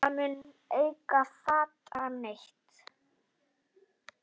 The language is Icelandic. Það mun enginn fatta neitt.